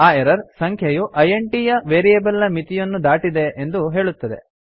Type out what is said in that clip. ಆ ಎರರ್ ಸಂಖ್ಯೆಯು ಇಂಟ್ ಯ ವೇರಿಯೇಬಲ್ ನ ಮಿತಿಯನ್ನು ದಾಟಿದೆ ಎಂದು ಹೇಳುತ್ತದೆ